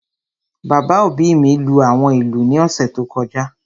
Bàbá òbí mi lú àwọn ìlú ní ọ̀sẹ̀ tó kọjá